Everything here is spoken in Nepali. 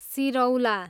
सिरौला